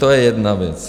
To je jedna věc.